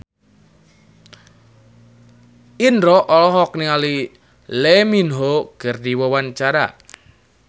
Indro olohok ningali Lee Min Ho keur diwawancara